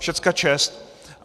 Všechna čest.